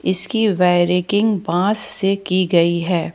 इसकी वेरी किंग बांस से की गई है।